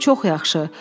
Hətta çox yaxşı.